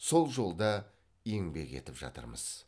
сол жолда еңбек етіп жатырмыз